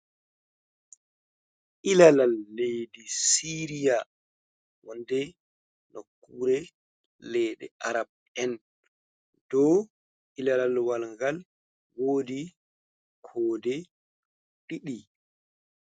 ILalal leɗɗi siriya, wonde no kure leɗɗe araɓ en ,ɗow ilalalwalgal woɗi koɗe ɗiɗi.